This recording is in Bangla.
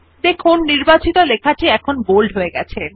দেখুন নির্বাচিত লেখা টি বোল্ড হয়ে গেছে